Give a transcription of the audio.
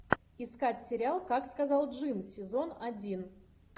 искать сериал как сказал джим сезон один